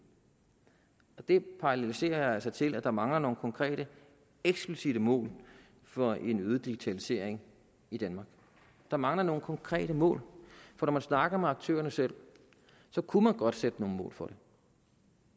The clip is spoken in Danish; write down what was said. det paralleliserer jeg altså til at der mangler nogle konkrete eksplicitte mål for en øget digitalisering i danmark der mangler nogle konkrete mål for når man snakker med aktørerne selv kunne man godt sætte nogle mål for det